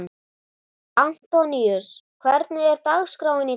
Antoníus, hvernig er dagskráin í dag?